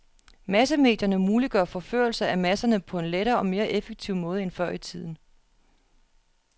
Massemedierne muliggør forførelse af masserne på en lettere og mere effektiv måde end før i tiden.